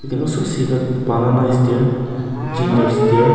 there also see that banana is there ginger is there.